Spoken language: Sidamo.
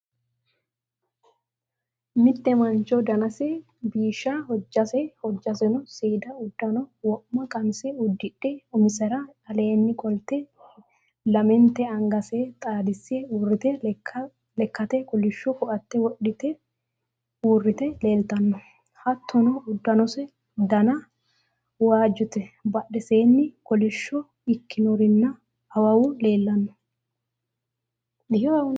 Mitte mancho danase biishsha, hojjaseno seeda uddano wo'ma (qamise) uddidhe umise'ra aleenni qolte lamenta angase xaadisse uurrite Lekkate kolishsho koaatte wodhite uurrite leeltanno hattono uddanose dana waajjote bodheseenni kolishsho ikkino'rinna awawu leellanno